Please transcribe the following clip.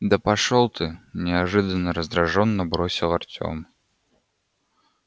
да пошёл ты неожиданно раздражённо бросил артем